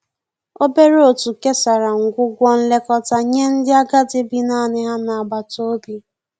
obere otu kesara ngwugwo nlekọta nye ndi agadi bi naani ha n'agbata obi.